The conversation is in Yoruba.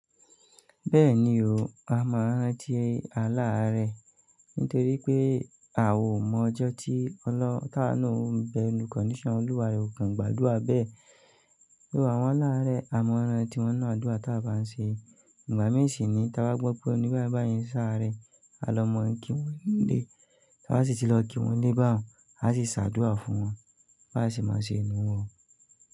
Bẹ́ẹ̀ni o, a máa rántí alaarẹ̀ nítorí pé a ò mọ ọjọ́ tí ọlọ́ táa náà ó ń bẹ inú condition. Olúwa rẹ̀ ò kàn gbàdúrà bẹ́ẹ̀. Bí àwọn aláàárẹ̀ a mọ rantí wọ́n nínú àdúrà táa bá ń ṣe. Ìgbà mí ṣì niyí táa bá gbọ́ pé ẹní bàyibàyi n sàáré, a lọ mọ̀ ń kí wọ́n nílé. Tawa sì ti lọ kí wọ́n nílé báwọn, a sì ṣàdúrà fún wọn, bá sì máa ṣe inú wọn.